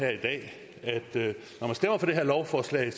det her lovforslag